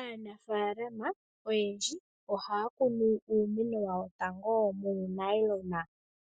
Aanafaalama oyendji ohaya kunu uumeno wawo tango muunayilona